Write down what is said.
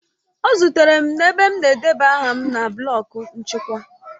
Ọ zutere m ebe m na-edebanye aha m na blọk nchịkwa